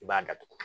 I b'a datugu